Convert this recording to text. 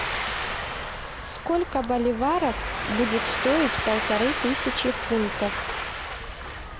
сколько боливаров будет стоить полторы тысячи фунтов